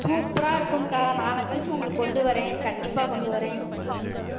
super ஆ இருக்கும்க்கா நாளை கழிச்சு உங்களுக்கு கொண்டு வர்றேன் கண்டிப்பா கொண்டு வர்றேன்